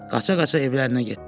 Qaça-qaça evlərinə getdi.